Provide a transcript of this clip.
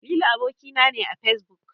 Lili aboki na ne a Fesbuk.